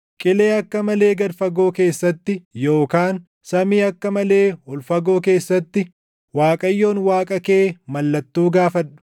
“Qilee akka malee gad fagoo keessatti yookaan samii akka malee ol fagoo keessatti, Waaqayyoon Waaqa kee mallattoo gaafadhu.”